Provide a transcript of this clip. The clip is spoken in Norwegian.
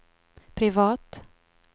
privat